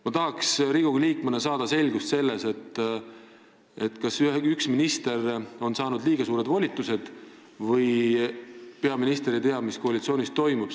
Ma tahaks Riigikogu liikmena saada selgust selles, kas üks minister on saanud liiga suured volitused või peaminister ei tea, mis koalitsioonis toimub.